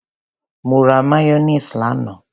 Mo ra mayonnaise lánàá.